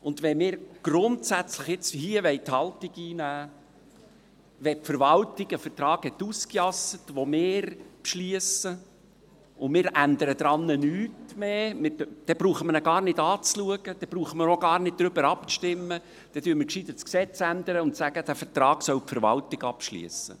Wenn wir grundsätzlich die Haltung einnehmen wollen, wenn die Verwaltung einen Vertrag ausgejasst hat, den wir beschliessen, und wir ändern daran nichts mehr, dann brauchen wir ihn uns gar nicht mehr anzuschauen, dann brauchen wir auch gar nicht darüber abzustimmen, dann ändern wir besser das Gesetz und sagen, die Verwaltung solle den Vertrag abschliessen.